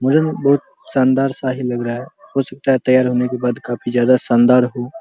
मुझे भी बहुत शानदार सा ही लग रहा है हो सकता है तैयार होने के बाद काफी ज्यादा शानदार हो --